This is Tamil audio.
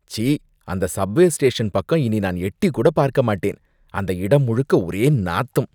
ச்சீ! அந்த சப்வே ஸ்டேஷன் பக்கம் இனி நான் எட்டிக்கூட பார்க்க மாட்டேன், அந்த இடம் முழுக்க ஒரே நாத்தம்.